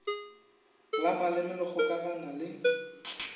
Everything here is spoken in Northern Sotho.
la maleme le kgokagana le